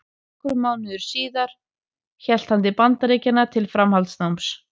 Nokkrum mánuðum síðar hélt hann til Bandaríkjanna til framhaldsnáms.